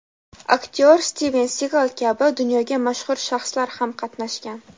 aktyor Stiven Sigal kabi dunyoga mashhur shaxslar ham qatnashgan.